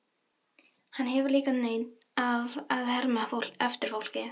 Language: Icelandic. Hann hefur líka nautn af að herma eftir fólki.